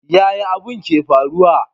Yaya abin ke faruwa?